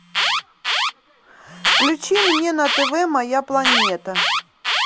включи мне на тв моя планета